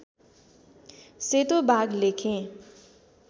सेतो बाघ लेखेँ